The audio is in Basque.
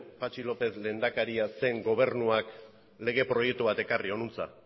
patxi lópez lehendakaria zen gobernuak lege proiektu bat ekarri hona